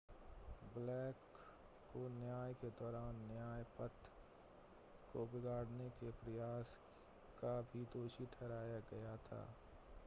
black को न्याय के दौरान न्याय-पथ को बिगाड़ने के प्रयास का भी दोषी ठहराया गया था